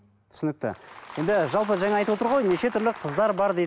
түсінікті енді жалпы жаңа айтып отыр ғой неше түрлі қыздар бар дейді